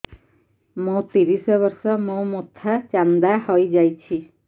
ମୋ ତିରିଶ ବର୍ଷ ମୋ ମୋଥା ଚାନ୍ଦା ହଇଯାଇଛି